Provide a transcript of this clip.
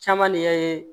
Caman de y'a ye